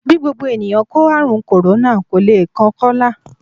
Bí gbogbo ènìyàn kó ààrùn kòrónà, kò le kan Kọ́lá